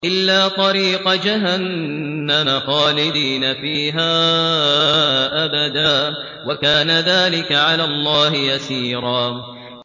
إِلَّا طَرِيقَ جَهَنَّمَ خَالِدِينَ فِيهَا أَبَدًا ۚ وَكَانَ ذَٰلِكَ عَلَى اللَّهِ يَسِيرًا